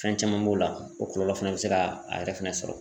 Fɛn caman b'o la, o kɔlɔlɔ fɛnɛ bɛ se ka a yɛrɛ fɛnɛ sɔrɔ